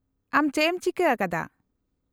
- ᱟᱢ ᱪᱮᱫ ᱮᱢ ᱪᱤᱠᱟᱹ ᱟᱠᱟᱫᱟ ?